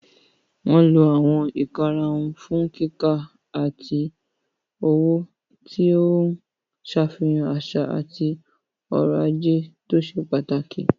Wọ́n lo àwọn ìkarahun fún kíkà àti òwò, tí ó ń ṣàfihàn àṣà àti ọrọ̀ ajé tó ṣe pàtàkì.